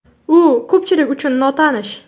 U ko‘pchilik uchun notanish.